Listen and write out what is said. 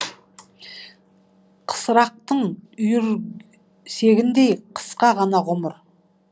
қысырақтың үйірсегіндей қысқа ғана ғұмыр